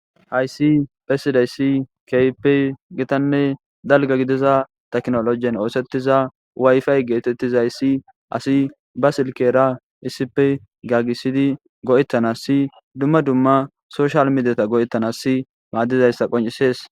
hayssi phesidayssi keype gitanne dalga gidiza taknolojen oosettiza wayfay geetettizayssi asi ba silkera isipe gagisidi go7ettanasi dumma dumma soshal midiyata go7ettanassi maaddizayssa qoncisees